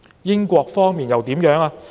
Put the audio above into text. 英國方面又怎樣呢？